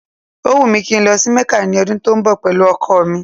Ó wùn mí kí n lọ sí Mẹ́kà ní ọdún tó ń bọ̀ pẹ̀lú ọkọ̀ mi